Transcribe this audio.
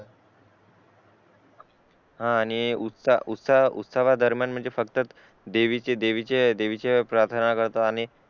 हा आणि उत्सव दरम्यान देवीचे प्रार्थना करतो आणि